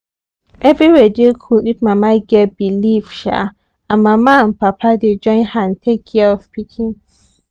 everywhere dey cool if mama get belief um and mama and papa dey join hand take care of pikin